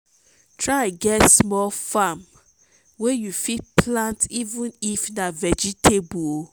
try get small farm wey you fit plant even if na vegetable o